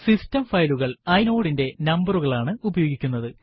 system ഫയലുകള് inode ന്റെ നമ്പരുകൾ ആണ് ഉപയോഗിക്കുന്നത്